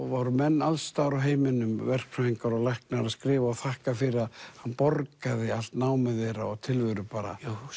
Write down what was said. voru menn alls staðar úr heiminum verkfræðingar og læknar að skrifa og þakka fyrir að hann borgaði allt námið þeirra og tilveru bara